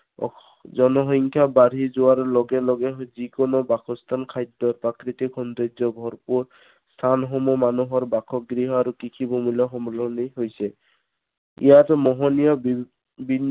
জনসংখ্যা বাঢ়ি যোৱাৰ লগে লগে যি কোনো বাসস্থান, খাদ্য়, প্ৰাকৃতিক সৌন্দৰ্যৰে ভৰপূৰ স্থানসমূহ মানুহৰ বাসগৃহ আৰু কৃষিভূমিলৈ সম~সলনি হৈছে। ইয়াত মোহনীয়